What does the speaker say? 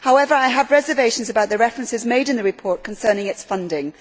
However, I have reservations about the references made in the report concerning its funding.